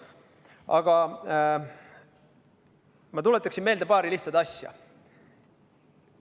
Aga ma tuletaksin meelde paari lihtsat asja.